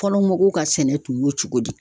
Fɔlɔ mɔgɔw ka sɛnɛ tun y'o cogo di.